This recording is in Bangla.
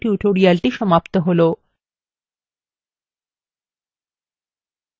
এইখানেই আমাদের libreoffice calc এর এই কথ্য tutorial সমাপ্ত হলো